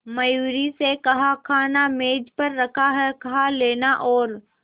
मयूरी से कहा खाना मेज पर रखा है कहा लेना और